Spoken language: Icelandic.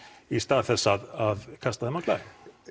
í stað þess að kasta þeim á glæ